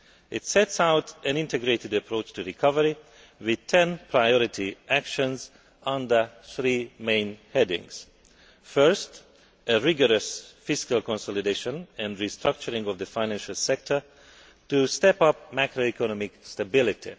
It sets out an integrated approach to recovery with 10 priority actions under three main headings first, a rigorous fiscal consolidation and restructuring of the financial sector to step up macroeconomic stability